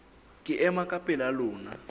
ke ema ka pela lona